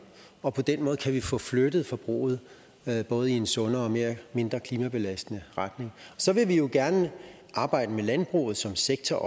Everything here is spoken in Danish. og på den måde kan vi få flyttet forbruget både i en sundere og mindre klimabelastende retning så vil vi jo også gerne arbejde med landbruget som sektor